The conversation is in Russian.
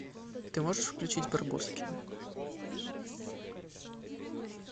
ты можешь включить барбоскины